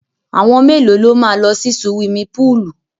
Àwọn mẹ́lòó ló máa lọ sí suwimi púùlù?